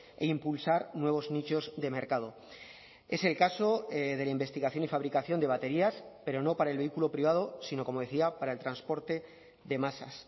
e impulsar nuevos nichos de mercado es el caso de la investigación y fabricación de baterías pero no para el vehículo privado sino como decía para el transporte de masas